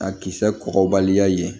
A kisɛ kɔgɔbaliya ye